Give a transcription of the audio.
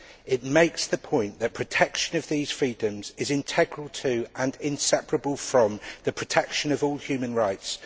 It makes the point that protection of these freedoms is integral to, and inseparable from, the protection of all human rights.